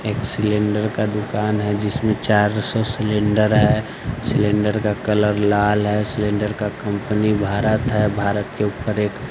एक सिलेंडर का दुकान है जिसमें चार सौ सिलेंडर है सिलेंडर का कलर लाल है सिलेंडर का कंपनी भारत है भारत के ऊपर एक--